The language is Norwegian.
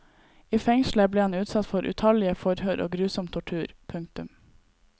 I fengselet ble han utsatt for utallige forhør og grusom tortur. punktum